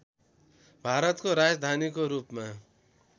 भारतको राजधानीको रूपमा